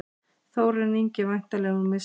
Þórarinn Ingi væntanlega með sigurmarkið.